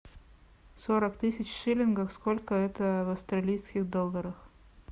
сорок тысяч шиллингов сколько это в австралийских долларах